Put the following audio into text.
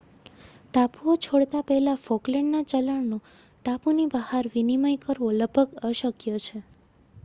ટાપુઓ છોડતા પહેલા ફોકલેન્ડના ચલણનો ટાપુની ભહાર વિનિમય કરવો લગભગ અશક્ય છે